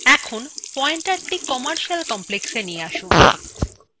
এখন পয়েন্টারthe commercial complexএ নিয়ে আসুন